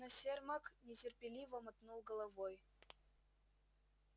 но сермак нетерпеливо мотнул головой